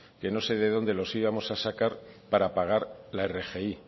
que no sé de dónde los íbamos a sacar para pagar la rgi